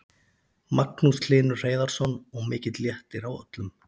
Magnús Hlynur Hreiðarsson: Og mikill léttir á öllum?